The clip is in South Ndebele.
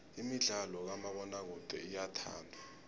imidlalo kamabonakude iyathandwa